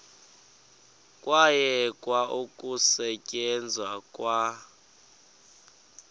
kwayekwa ukusetyenzwa kwa